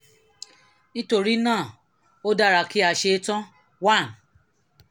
nítorí náà ó dára kí a ṣe é tán one